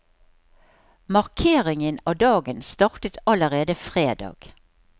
Markeringen av dagen startet allerede fredag.